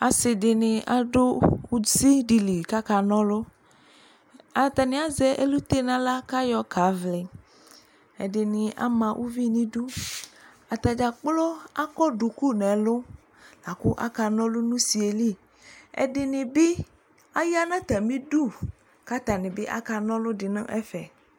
Ase de ne ado usi de li kaka nalɔAtane azɛ elute nahla ka yɔ kavliƐde ne ama uvi no iduAta dzakplo akɔ duku nɛlu lako aka nɔlu no usie li Ɛde ne be aya na atame du ka atane be aka nɔlu de nɛfɛ